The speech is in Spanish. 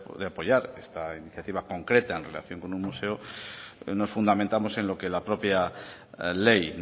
de apoyar esta iniciativa concreta en relación con un museo nos fundamentamos en lo que la propia ley